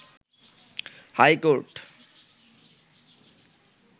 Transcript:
high court